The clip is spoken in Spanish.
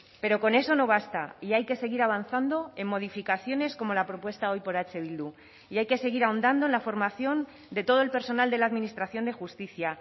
pero con eso no basta y hay que seguir avanzando en modificaciones como la propuesta hoy por eh bildu y hay que seguir ahondando en la formación de todo el personal de la administración de justicia